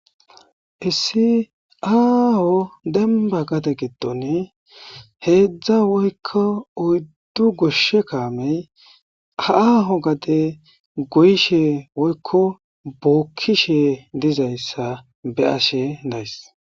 Issi aaho demba gade giddon heedzdza woykko oyddu goshshe kaamey haaaho gade goyshe woykko bookkishe dizayssa be ashe days.